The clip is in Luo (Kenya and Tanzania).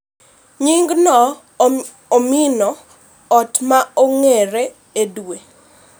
Nying no omino ot ma oger e dwe